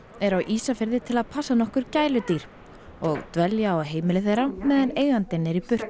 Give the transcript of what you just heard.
eru á Ísafirði til að passa nokkur gæludýr og dvelja á heimili þeirra meðan eigandinn er í burtu